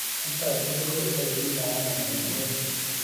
Chuto tugul kobete bik kayanet eng pororiet